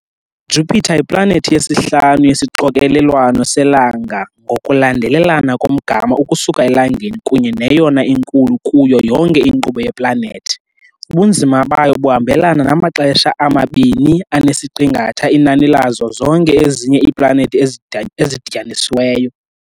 Jupiter yiplanethi yesihlanu yesixokelelwano selanga ngokulandelelana komgama ukusuka eLangeni kunye neyona inkulu kuyo yonke inkqubo yeplanethi - ubunzima bayo buhambelana namaxesha amabini anesiqingatha inani lazo zonke ezinye iiplanethi ezidityanisiweyo.